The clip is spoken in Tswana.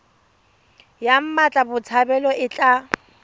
ya mmatla botshabelo e tla